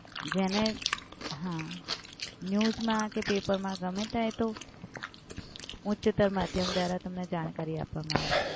જેને, હા news માં કે પેપરમાં ગમ્મે ત્યાં એ તો ઉચ્ચતર માધ્યમ દ્વારા તમને જાણકારી આપવમાં આવશે.